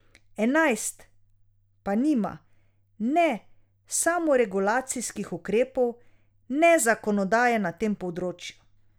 Enajst pa nima ne samoregulacijskih ukrepov ne zakonodaje na tem področju.